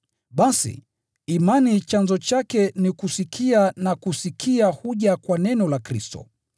Basi, imani chanzo chake ni kusikia, na kusikia huja kwa neno la Kristo.